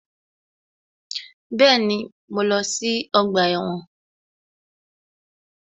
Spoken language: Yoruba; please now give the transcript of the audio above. Bẹ́ẹ̀ni, mo lọ sí ọgbà ẹ̀wọ̀n